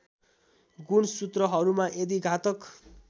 गुणसूत्रहरूमा यदि घातक